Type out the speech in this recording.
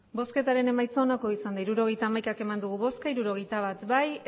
hirurogeita hamaika eman dugu bozka hirurogeita bat bai